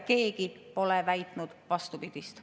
Keegi pole väitnud vastupidist.